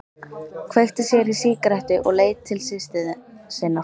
Kveikti sér í sígarettu og leit til systur sinnar.